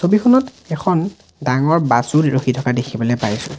ছবিখনত এখন ডাঙৰ বাছ ও ৰখি থকা দেখিবলৈ পাইছোঁ।